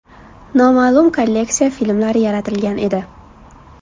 Noma’lum kolleksiya” filmlari yaratilgan edi.